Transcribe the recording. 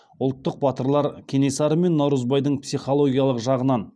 ұлттық батырлар кенесары мен наурызбайдың психологиялық жағынан